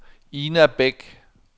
Ina Beck